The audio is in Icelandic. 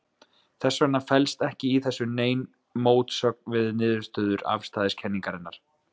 Þess vegna felst ekki í þessu dæmi nein mótsögn við niðurstöður afstæðiskenningarinnar.